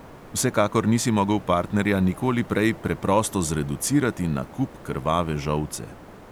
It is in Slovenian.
Vsekakor nisi mogel partnerja nikoli prej preprosto zreducirati na kup krvave žolce.